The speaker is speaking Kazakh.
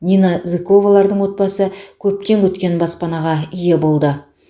нина зыковалардың отбасы көптен күткен баспанаға ие болды